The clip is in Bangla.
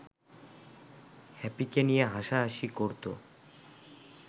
হ্যাপিকে নিয়ে হাসাহাসি করতো